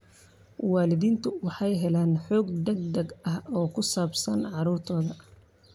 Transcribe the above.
Waalidiintu waxay helayaan xog degdeg ah oo ku saabsan carruurtooda.